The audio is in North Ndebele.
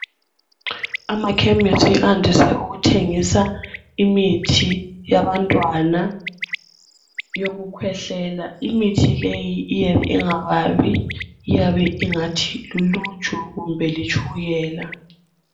Amakhemisi andise ukuthengisa imithi yabantwana yokukhwehlela. Imithi leyi iyabe ingababi, iyabe ingathi luluju kumbe litshukela.